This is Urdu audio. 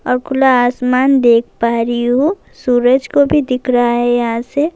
خلا آسمان دیکھ پا رہی ہو۔ سورج کو بھی دیکھ رہا ہے یہاں سے--